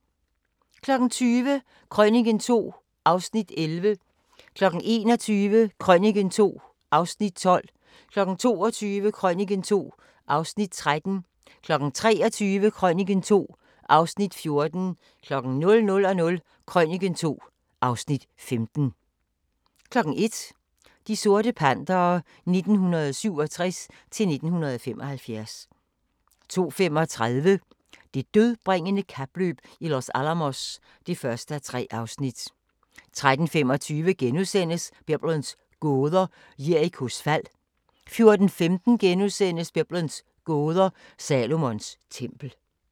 20:00: Krøniken II (Afs. 11) 21:00: Krøniken II (Afs. 12) 22:00: Krøniken II (Afs. 13) 23:00: Krøniken II (Afs. 14) 00:00: Krøniken II (Afs. 15) 01:00: De sorte Pantere 1967-1975 02:35: Det dødbringende kapløb i Los Alamos (1:3) 03:25: Biblens gåder – Jerikos fald * 04:15: Biblens gåder – Salomons tempel *